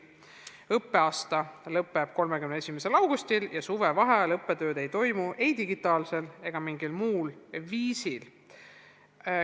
Õppeaasta lõpeb 31. augustil ja suvevaheajal õppetööd ei toimu ei digitaalsel ega mingil muul viisil.